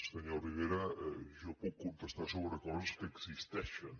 senyor rivera jo puc contestar sobre coses que existeixen